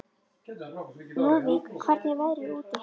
Lúðvík, hvernig er veðrið úti?